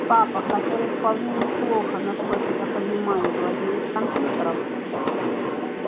папа который вполне неплохо насколько я понимаю владеет компьютером